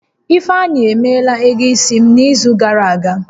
Ifeanyi emeela ego isi m n'izu gàrà aga